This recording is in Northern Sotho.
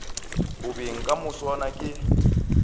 go beng ka moswane ke